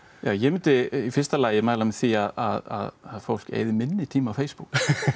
ég myndi í fyrsta lagi mæla með því að fólk eyði minni tíma á Facebook